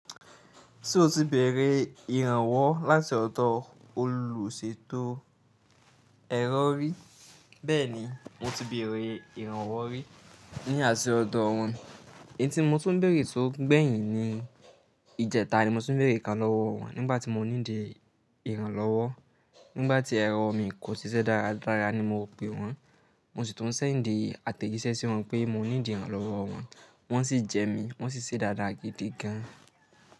Ṣé o ti bẹ̀rẹ̀ ìrànwọ́ láti ọ̀dọ̀ olùṣètò ẹ̀rọ rí? Bẹ́ẹ̀ni, mo ti bẹ̀rẹ̀ ìrànwọ́ rí ní àṣẹ ọ̀dọ̀ wọ́n. Ẹ̀tí mo tó ń bèrè tó gbẹ̀yìn ni ìjẹta ni mo tún bèrè kan lọ́wọ́ wọn nígbàtí mo ní dì ìrànlọ́wọ́. Nígbàtí ẹ̀rọ mi kò ṣiṣẹ́ dáradára ni mo pe wọ́n, mo sì tún ṣẹ̀ dì àtẹ̀gísẹ̀ sí wọn pé mo ní dìran lọ́wọ́ wọn, wọ́n sì jẹ mí, wọ́n sì ṣiṣẹ́ dáradára gidi gan.